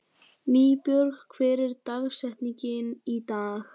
Nýbjörg, hver er dagsetningin í dag?